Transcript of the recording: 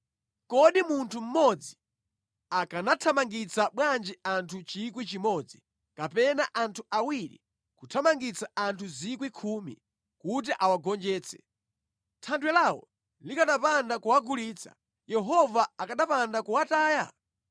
Kodi munthu mmodzi akanathamangitsa bwanji anthu 1,000 kapena anthu awiri kuthamangitsa anthu 10,000, kuti awagonjetse, Thanthwe lawo likanapanda kuwagulitsa, Yehova akanapanda kuwataya?